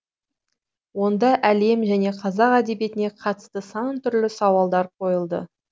онда әлем және қазақ әдебиетіне қатысты сан түрлі сауалдар қойылды